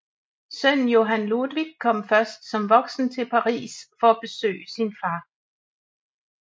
Sønnen Johan Ludvig kom først som voksen til Paris for at besøge sin far